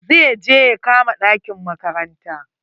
Zai je ya kama ɗakin makaranta.